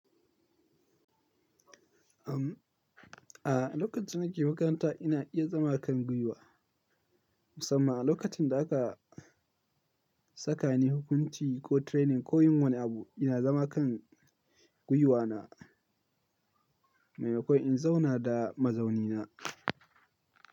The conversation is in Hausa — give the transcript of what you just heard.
Am, a lokacin da nake makaranta ina iya zama kan gwiwa. Musamman a lokacin da aka saka ni hukunci ko training ko yin wani abu, ina zama kan gwiwana maimakon in zauna da mazaunina.